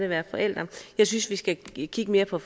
være forælder jeg synes vi skal kigge mere på